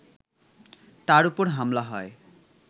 তার ওপর হামলা হয়